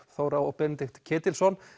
Þóra og Benedikt Ketilsson